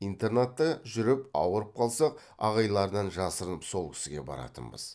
интернатта жүріп ауырып қалсақ ағайлардан жасырынып сол кісіге баратынбыз